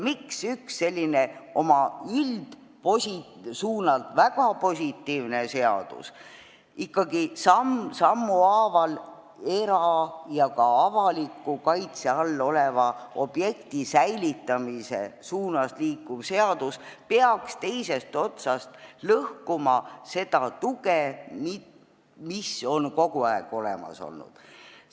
Miks üks selline oma üldsuunalt väga positiivne seadus, ikkagi samm sammu haaval era- ja ka avaliku kaitse all olevate objektide säilitamise suunas liikuv seadus peaks teisest otsast lõhkuma seda tuge, mis on kogu aeg olemas olnud?